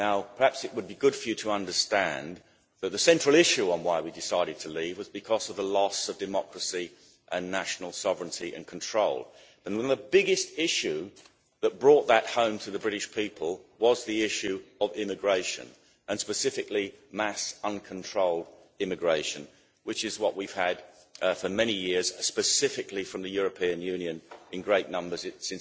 Perhaps it would be good for you to understand that the central issue on why we decided to leave was because of a loss of democracy and national sovereignty and control, and the biggest issue that brought that home to the British people was the issue of immigration, and specifically mass uncontrolled immigration, which is what we've had for many years, specifically from the European Union in great numbers since